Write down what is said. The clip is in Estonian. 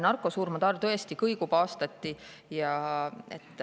Narkosurmade arv tõesti kõigub aastati.